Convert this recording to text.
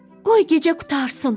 Qoy gecə qurtarsın.